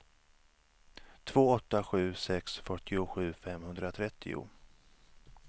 två åtta sju sex fyrtiosju femhundratrettio